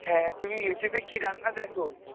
হ্যাঁ, তুমি Youtube এ কী রান্না দেখো?